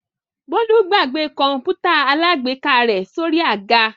Bólú gbàgbé kọ̀ǹpútà alágbèéká rẹ̀ sórí àga?